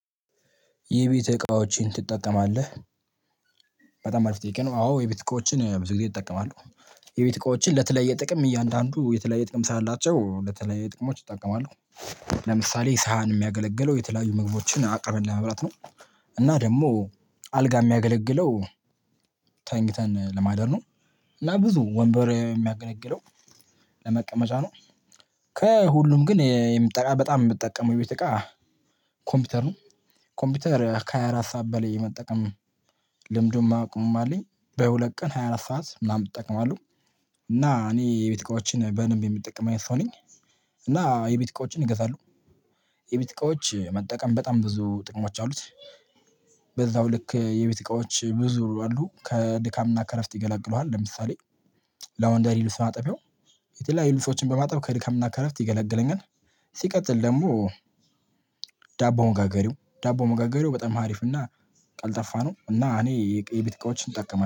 የቤት እቃዎችን ትጠቀማለህ? በጣም አሪፍ ጥያቄ ነው አዎ የቤት እቃዎችን ብዙ ጊዜ እጠቀማለሁ። የቤት እቃዎችን ለተለያየ ጥቅም እያንዳንዱ የተለያየ ጥቅም ስላላቸው ለተለያዩ ጥቅሞች እጠቀማለሁ። ለምሳሌ ሳህን የሚያገለግለው የተለያዩ ምግቦችን አቅርበን ለመብላት ነው። እና ደግሞ አልጋ የሚያገለግለው ተኝተን ለማደር ነው። እና ብዙ ወንበር የሚያገለግለው ለመቀመጫ ነው። ከሁሉም ግን የምጠቀመው በጣም የምጠቀመው ቤት እቃ ኮምፒውተር ነው። ኮምፒውተር ከሃያ አራት ሰዓት በላይ የመጠቀም ልምዱም አቅሙም አለኝ በሁለት ቀን ሃያ አራት ሰዓት ምናምን እጠቀማለሁ። እና እኔ የቤት እቃዎችን በደምብ የምጠቀም አይነት ሰው ነኝ። እና የቤት እቃዎችን እገዛለሁ። የቤት እቃዎች መጠቀም በጣም ብዙ ጥቅሞች አሉት። በዛው ልክ የቤት እቃዎች ብዙ አሉ ከድካምና ከእረፍት ይገላግሉሃል ለምሳሌ። ለወንደሪ ልብስ ማጠቢያው የተለያዩ ልብሶችን በማጠብ ከድካምና ከእረፍት ይገላግለኛል። ሲቀጥል ደግሞ ዳቦ ሞጋገሪያው ዳቦ ሞጋገሪያው በጣም አሪፍ እና። ቀልጠፋነው እና እኔ የቤት እቃዎችን እጠቀማለሁ